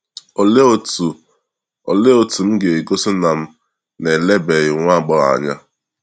olee otu olee otu m ga esi gosi na m na elebeghị nwa agbọghọ anya?